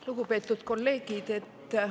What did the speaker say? Lugupeetud kolleegid!